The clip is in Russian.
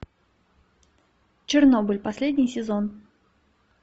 чернобыль последний сезон